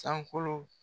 Sankolo